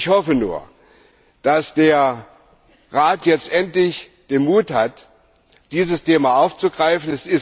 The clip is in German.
Ich hoffe nur, dass der Rat jetzt endlich den Mut hat, dieses Thema aufzugreifen.